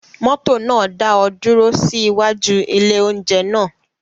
Mọ́tò náà dá ọ dúró sí iwájú ilé-oúnjẹ náà?